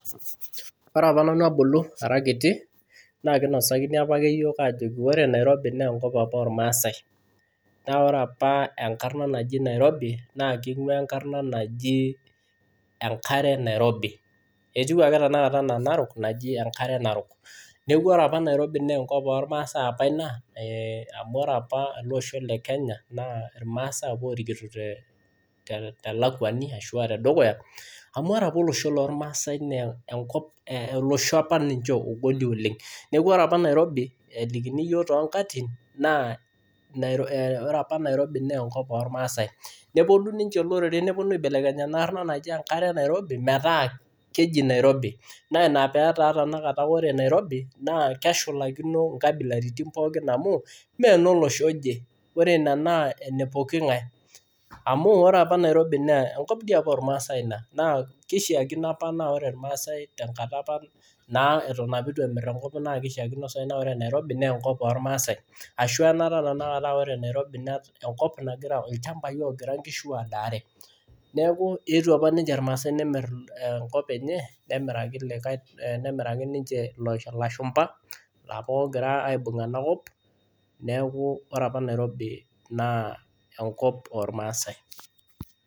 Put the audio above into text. Kore apa nanu abulu ara kiti naa kinosakini apa yiok ajoki kore nairobi na nkop apa elmasae naaku kore apa nkarna naji nairobi naa keing'ua nkarna naji enkare nairobi etiu ake tanakata ana enarok naji enkare narok, naakore apa nairobi naa nkop elmasae apa nia amu kore apa losho lekenya naa naa lmaasae apa lorikito telakwani ashu atedukuya amu kore apa losho lelmasani naa kop naa losho apa ogol ninye oleng kore apa nairobi tenelikini yuo tenkatitin naa kore apa nairobi naa nkop lmaasae neponu ninye loreren noponu aibelekeny ana arnaa naji enkare nairobi metaa keji nairobi naa peji tanakata kore nairobi naa keshulakino nkabilariti pooki amu melosho eje kore ene naa nepooki ngae amu kore apa nairobi naa nkop lmaasae Ina Kore keishiakino apa kore lmaasae tankata apa naa etonemir nkop nia keishiakino kore nairobi naa nkop lmaasae ashu anata tata kore nairobi naa nkop nagira olshambai ogira ngishu aadare neeku eetuo apa ninche lmaasae nemir nkop enye nemiraki niche lashumba laapa egira aibug anakop neeku kore nairobi naa enkop elmasae. Kore apa nanu abulu ara kiti naa kinosakini apa yiok ajoki kore nairobi na nkop apa elmasae naaku kore apa nkarna naji nairobi naa keing'ua nkarna naji enkare nairobi etiu ake tanakata ana enarok naji enkare narok, naakore apa nairobi naa nkop elmasae apa nia amu kore apa losho lekenya naa naa lmaasae apa lorikito telakwani ashu atedukuya amu kore apa losho lelmasani naa kop naa losho apa ogol ninye oleng kore apa nairobi tenelikini yuo tenkatitin naa kore apa nairobi naa nkop lmaasae neponu ninye loreren noponu aibelekeny ana arnaa naji enkare nairobi metaa keji nairobi naa peji tanakata kore nairobi naa keshulakino nkabilariti pooki amu melosho eje kore ene naa nepooki ngae amu kore apa nairobi naa nkop lmaasae Ina Kore keishiakino apa kore lmaasae tankata apa naa etonemir nkop nia keishiakino kore nairobi naa nkop lmaasae ashu